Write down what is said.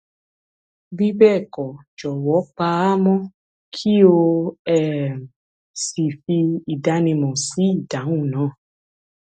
bí bẹẹ kọ jọwọ pa á mọ kí o um sì fi ìdánimọ sí ìdáhùn náà